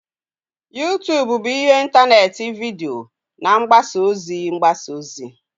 YouTube bụ ihe ntanetị vidiyo na mgbasa ozi mgbasa ozi